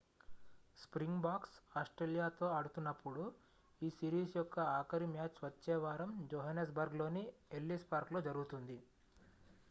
springboks ఆస్ట్రేలియాతో ఆడుతున్నప్పుడు ఈ సిరీస్ యొక్క ఆఖరి మ్యాచ్ వచ్చే వారం జోహన్నెస్బర్గ్లోని ఎల్లిస్ పార్క్లో జరుగుతుంది